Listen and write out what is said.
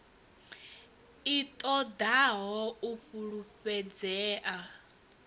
i ṱo ḓaho u fulufhedzea